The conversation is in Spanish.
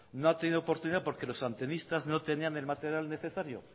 no ha tenido oportunidad porque los antenistas no tenían el material necesario